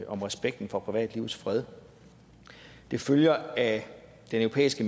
om respekten for privatlivets fred det følger af den europæiske